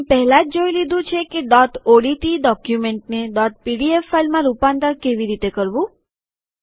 આપણે પેહલા જ જોઈ લીધું છે કે ડોટ ઓડીટી ડોક્યુમેન્ટને ડોટ પીડીએફ ફાઈલમાં રૂપાંતર કેવી રીતે કરવું